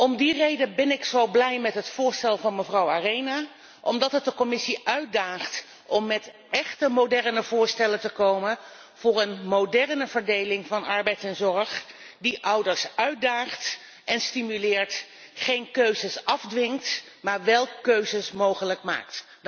Om die reden ben ik zo blij met het voorstel van mevrouw Arena, omdat het de Commissie uitdaagt om met echte moderne voorstellen te komen voor een moderne verdeling van arbeid en zorg, die ouders uitdaagt en stimuleert, en die geen keuzes afdwingt maar wel keuzes mogelijk maakt.